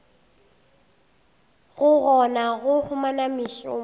go kgona go humana mešomo